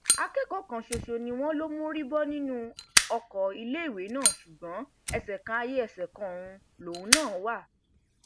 akẹkọọ kan ṣoṣo ni wọn ló mórí bọ nínú ọkọ iléèwé náà ṣùgbọn ẹsẹ kan ayé ẹsẹ kan ọrun lòun náà wà